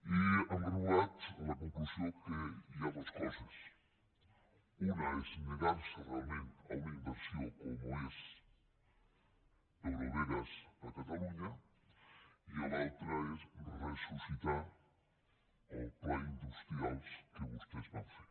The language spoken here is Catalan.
i hem arribat a la conclusió que hi ha dos coses una és negar·se realment a una inversió com és eurovegas a catalunya i l’altra és ressuscitar el pla industrial que vostès van fer